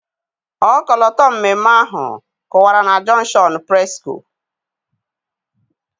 Ọkọlọtọ mmemme ahụ kwụwara na Jọnshọnụ Presịko.